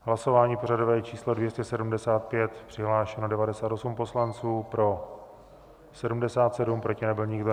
Hlasování pořadové číslo 275, přihlášeno 98 poslanců, pro 77, proti nebyl nikdo.